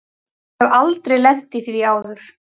Ég hef aldrei lent í því áður.